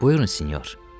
Buyurun, sinyor.